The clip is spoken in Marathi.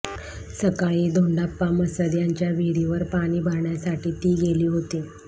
सकाळी धोंडाप्पा मसद यांच्या विहिरीवर पाणी भरण्यासाठी ती गेली होती